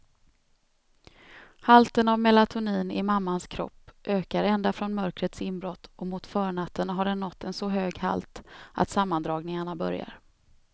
Halten av melatonin i mammans kropp ökar ända från mörkrets inbrott och mot förnatten har den nått en så hög halt att sammandragningarna börjar.